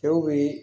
Cɛw bi